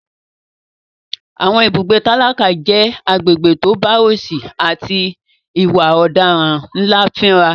Àwọn ibùgbé tálákà jẹ́ agbègbè tó bá òsì àti ìwà ọ̀daràn ńlá fínra.